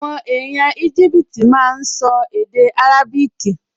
Àwọn èèyàn Íjíbítì máa n sọ èdè árábíkì